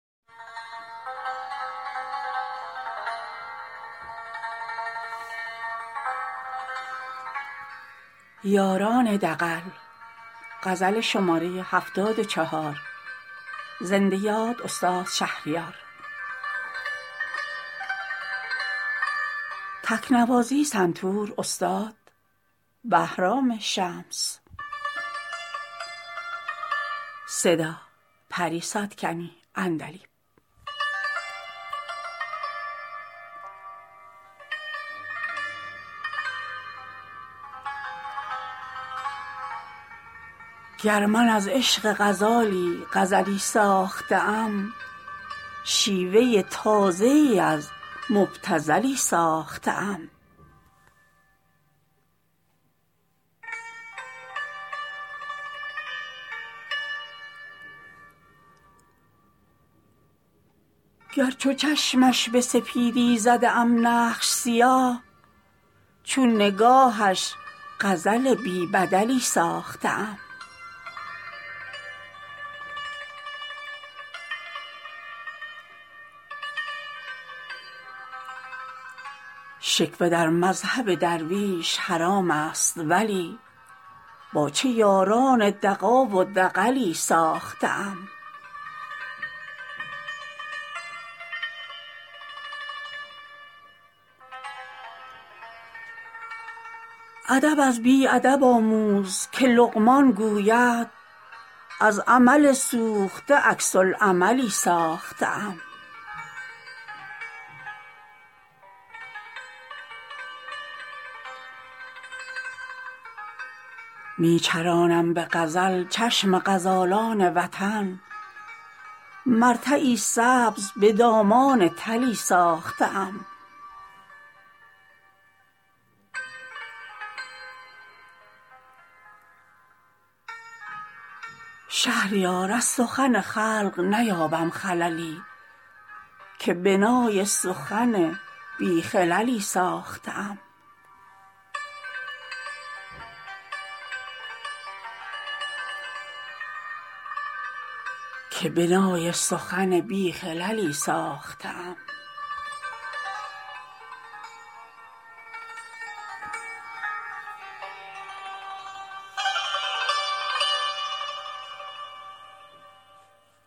گر من از عشق غزالی غزلی ساخته ام شیوه تازه ای از مبتذلی ساخته ام گر چو چشمش به سپیدی زده ام نقش سیاه چون نگاهش غزل بی بدلی ساخته ام گر چو زنبور به نیشم بنوازند رواست کز لب لعل تو نوشین عسلی ساخته ام شکوه در مذهب درویش حرامست ولی با چه یاران دغا و دغلی ساخته ام ادب از بی ادب آموز که لقمان گوید از عمل سوخته عکس العملی ساخته ام می کنم چشم طمع می شکنم دست سوال من که با جامعه کور و شلی ساخته ام چه خروسی تو که وقتی نشناسی ورنه من به هر عربده بی محلی ساخته ام درنمی یابی اگر ذوق نه من در هر بیت طرفه مضمونی و ضرب المثلی ساخته ام می چرانم به غزل چشم غزالان وطن مرتعی سبز به دامان تلی ساخته ام من در این کلبه تاریک به اشراق ادب آفتابم که به برج حملی ساخته ام شهریار از سخن خلق نیابم خللی که بنای سخن بی خللی ساخته ام